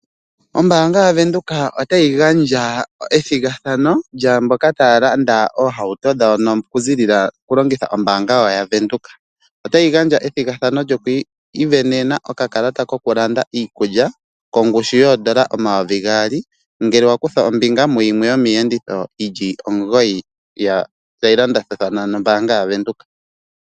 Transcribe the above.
Ombaanga yaVenduka otayi gandja ethigathano lyaamboka taya landa oohauto dhawo oku longitha wo ombaanga yaVenduka. Otayi gandja ethigathano lyokwii sindanena okakalata koku landa iikulya, kongushu yoondola omayovi gaali, ngele wa kutha ombinga muyimwe yomiiyenditho yili omugoyi tayi landathathana nombaanga yaVenduka.